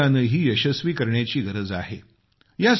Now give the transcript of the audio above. हे अभियानही यशस्वी करण्याची गरज आहे